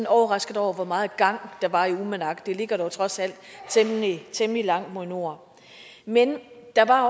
overrasket over hvor meget gang der var i uummannaq det ligger trods alt temmelig langt mod nord men der var